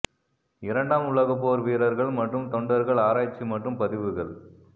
இரண்டாம் உலக போர் வீரர்கள் மற்றும் தொண்டர்கள் ஆராய்ச்சி மற்றும் பதிவுகள்